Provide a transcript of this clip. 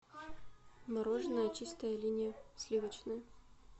мороженое чистая линия сливочное